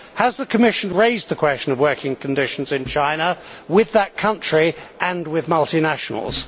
Has the Commission raised the question of working conditions in China with that country and with multinationals?